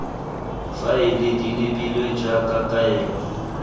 faele di lebilwe jaaka kaelo